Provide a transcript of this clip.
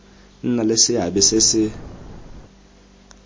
nna le seabe se se